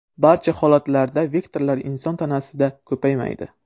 Barcha holatlarda vektorlar inson tanasida ko‘paymaydi.